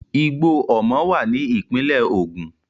Igbó Omo wà ní ìpínlẹ̀ Ògùn.